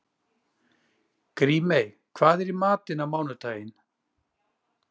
Grímey, hvað er í matinn á mánudaginn?